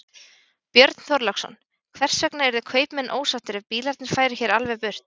Björn Þorláksson: Hvers vegna yrðu kaupmenn ósáttir ef bílarnir færu hér alveg burt?